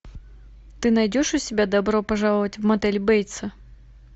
ты найдешь у себя добро пожаловать в мотель бейтса